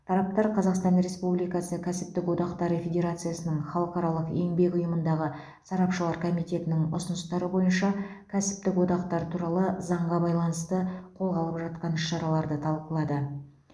тараптар қазақстан республикасы кәсіптік одақтары федерациясының халықаралық еңбек ұйымындағы сарапшылар комитетінің ұсыныстары бойынша кәсіптік одақтар туралы заңға байланысты қолға алып жатқан іс шараларды талқылады